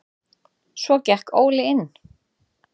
Svo gekk Óli inn.